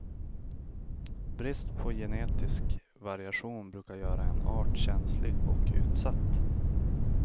Brist på genetisk variation brukar göra en art känslig och utsatt.